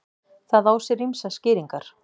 Það á sér ýmsar skýringar.